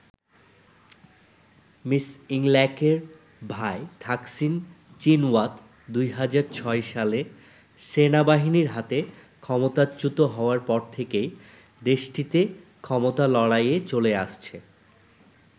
Miss ইংলাকের ভাই Thaksin Shinawatra ২০০৬ সালে সেনাবাহিনীর হাতে ক্ষমতাচ্যুত হওয়ার পর থেকেই দেশটিতে ক্ষমতা লড়াই চলে আসছে।